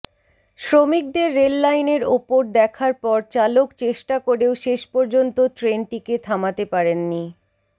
শ্রমিকদের রেললাইনের ওপর দেখার পর চালক চেষ্টা করেও শেষ পর্যন্ত ট্রেনটিকে থামাতে পারেননি